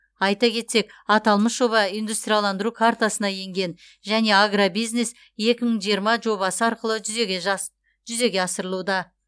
айта кетсек аталмыш жоба индустрияландыру картасына енген және агробизнес екі мың жиырма жобасы арқылы жүзеге асырылуда